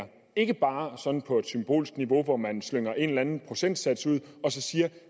ikke bare sådan på et symbolsk niveau hvor man slynger en eller anden procentsats ud og så siger at